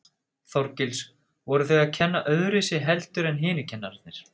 Þorgils: Voru þau að kenna öðruvísi heldur en hinir kennararnir?